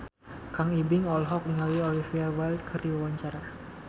Kang Ibing olohok ningali Olivia Wilde keur diwawancara